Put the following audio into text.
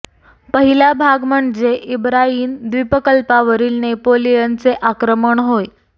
पहिला भाग म्हणजे इबारीयन द्वीपकल्पावरील नेपोलियनचे आक्रमण होय